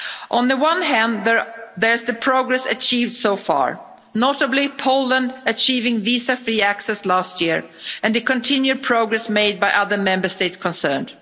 On the one hand, there is the progress achieved so far, notably Poland achieving visa free access last year and the continued progress made by the other Member States concerned.